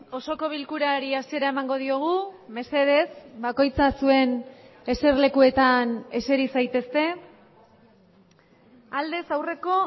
osoko bilkurari hasiera emango diogu mesedez bakoitza zuen eserlekuetan eseri zaitezte aldez aurreko